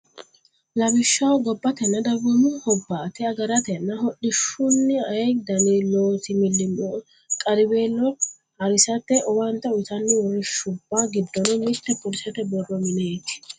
Lawishshaho gobbatenna dagoomu hobbaate agaratenna hodhishshunna ayee dani loosi millimmo qarriweelo ha risate owaante uytanno uurrinshubba giddonni mitte polisete borro mineeti.